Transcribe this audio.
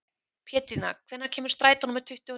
Pétrína, hvenær kemur strætó númer tuttugu og níu?